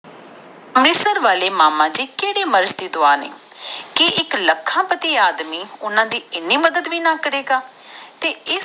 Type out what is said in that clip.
ਅੰਮ੍ਰਿਤਸਰ ਵਾਲੇ ਮਾਮਾ ਜੀ ਕਿਹੜੇ ਮੈਰਿਜ ਦੇ ਦੇ ਦਾਵਾ ਨੇ ਕਿ ਇਕ ਲੱਖਾਂ ਪਤੀ ਆਦਮੀ ਓਹਨਾ ਦੇ ਇਨੀ ਮਦਦ ਵੀ ਨੀ ਕਰੇਗਾ